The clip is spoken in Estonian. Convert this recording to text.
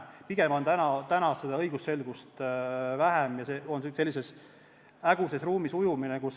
Pigem on täna õigusselgust vähem, see on sellises häguses ruumis ujumine.